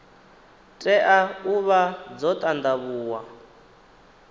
tea u vha dzo ṱanḓavhuwa